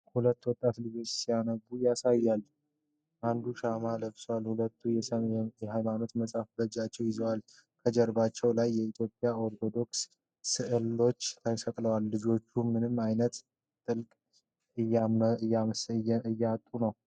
ሁለት ወጣት ልጆችን ሲያነቡ ያሳያል። አንዱ ሻማ ለብሷል፣ ሁለቱም የሃይማኖት መጻሕፍት በእጃቸው ይዘዋል። ከጀርባዎቻቸው ላይ የኢትዮጵያ ኦርቶዶክስ ስዕሎች ተሰቅለዋል። ልጆቹ በምን ዓይነት ጥልቀት እያጠኑ ነው?